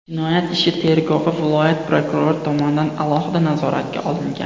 Jinoyat ishi tergovi viloyat prokurori tomonidan alohida nazoratga olingan.